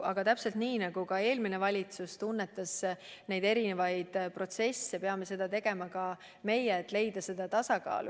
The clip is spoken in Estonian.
Aga täpselt nii, nagu eelmine valitsus püüdis neid erinevaid protsesse tunnetada, peame seda tegema ka meie, üritades leida tasakaalu.